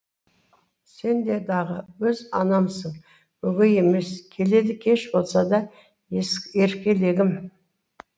сен дағы өз анамсың өгей емес келеді кеш болса да еркелегім